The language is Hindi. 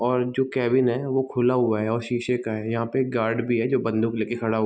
और जो केबिन है वो खुला हुआ है और शीशे का है यहाँ पर एक गार्ड भी है जो बंदूक लेकर खड़ा हु --